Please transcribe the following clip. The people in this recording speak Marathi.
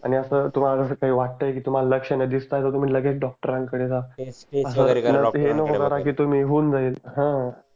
आणि अस तुम्हाला अस वाटतय की तुम्हाला लक्षण दिसत आहेत टीआर तुम्ही लगेच डोक्टरांकड जा ये नको करा की तुम्ही होऊन जाईल हा